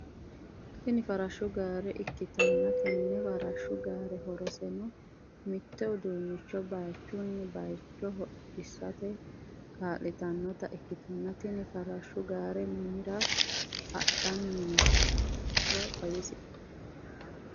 Tini farashshu gaare ikkitanna tenne farashshu gaare horoseno mitto uduunnichcho baayiichchunni baayiichcho hodhisate kaallitannotta ikkitanna tini farashshu gaare mamira hadhanni nooro xawisie ?